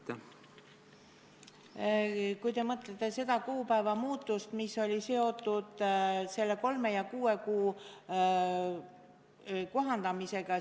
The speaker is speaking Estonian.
Te vist mõtlete seda kuupäeva muutust, mis on seotud kolme kuu asemel kuue kuu arvestamisega.